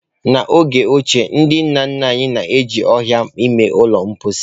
N'oge ochie, ndị nna nna anyị na-eji ọhịa eme ụlọ mposi.